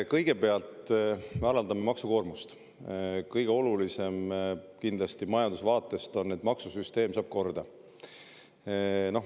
Kõigepealt, me alandame maksukoormust: kõige olulisem on majanduse vaatest kindlasti see, et maksusüsteem saab korda.